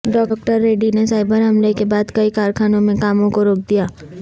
doctor Reddy نے cyber حملے کے بعد کئی کارخانوں میں کاموں کوروک دیا